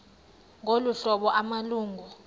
ngolu hlobo amalungu